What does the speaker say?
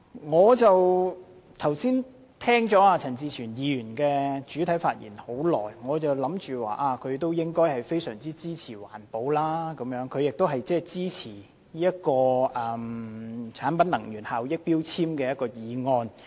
剛才聽到陳志全議員發言，我覺得他應相當支持環保，亦很支持根據《能源效益條例》動議的決議案。